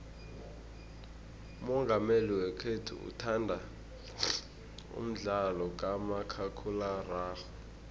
umongameli wekhethu uthanda umdlalo kamakhakhulararhwe